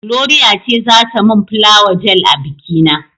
Gloria ce za ta mun fulawa gel a biki na.